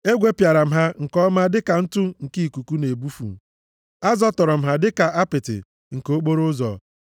Egwepịara m ha nke ọma dịka ntụ nke ikuku na-ebufu; a zọtọrọ m ha dịka apịtị nke okporoụzọ.